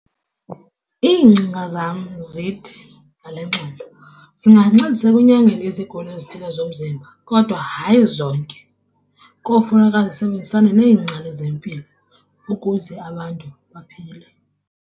Iingcinga zam zithi ngale ngxelo, zingancedisa ekunyangeni izigulo ezithile zomzimba kodwa hayi zonke. Kofuneka zisebenzisane neengcali zempilo ukuze abantu baphile.